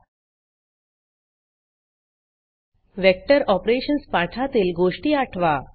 vector Operationsवेक्टर operations पाठातील गोष्टी आठवा